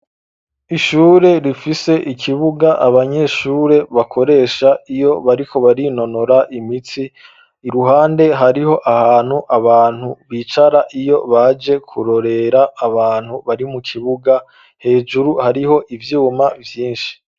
Ishure rifise ikibuga abanyeshure bakoresha iyo bariko barinonora imitsi iruhande hariho ahantu abantu bicara iyo baje kurorera abantu bari mu kibuga, hejuru hariho ivyuma vyinshi.